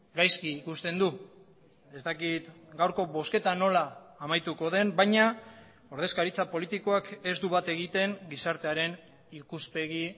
gaizki ikusten du ez dakit gaurko bozketa nola amaituko den baina ordezkaritza politikoak ez du bat egiten gizartearen ikuspegi